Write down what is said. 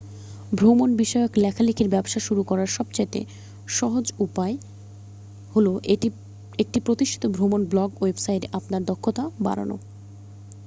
ভ্রমণ বিষয়ক লেখালেখির ব্যবসা শুরু করার সবচেয়ে সহজ উপায় হল একটি প্রতিষ্ঠিত ভ্রমণ ব্লগ ওয়েবসাইটে আপনার দক্ষতা বাড়ানো